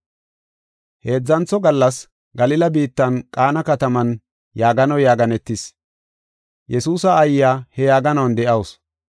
Heedzantho gallas Galila biittan Qaana kataman yaaganoy yaaganetis. Yesuusa aayiya he yaaganuwan de7awusu.